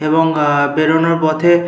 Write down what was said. এবং আহ বেরোনের পথে --